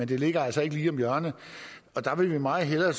det ligger altså ikke lige om hjørnet der vil vi meget hellere